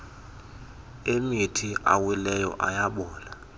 emithi awileyo ayabola